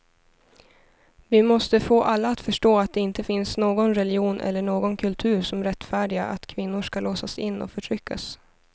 Vi måste få alla att förstå att det inte finns någon religion eller någon kultur som rättfärdigar att kvinnor ska låsas in och förtryckas.